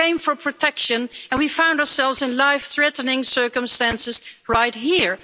We came for protection and we found ourselves in life-threatening circumstances right here.